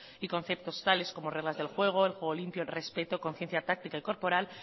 y conceptos tales como reglas del juego el juego limpio el respecto conciencia táctica y corporal